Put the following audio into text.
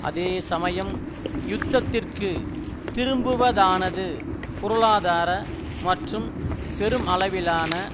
அதே சமயம் யுத்தத்திற்கு திரும்புவதானது பொருளாதார மற்றும் பெருமளவிலான